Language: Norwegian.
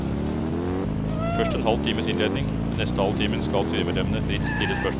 Først en halv times innledning, den neste halve timen skal styremedlemmene fritt stille spørsmål.